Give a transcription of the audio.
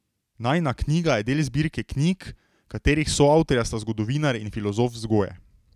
Najina knjiga je del zbirke knjig, katerih soavtorja sta zgodovinar in filozof vzgoje.